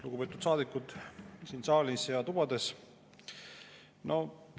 Lugupeetud saadikud siin saalis ja tubades!